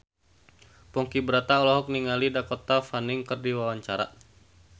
Ponky Brata olohok ningali Dakota Fanning keur diwawancara